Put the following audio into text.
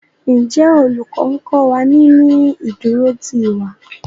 Njé Olùkó nkó wá ní ní ìdúró tí ìwà?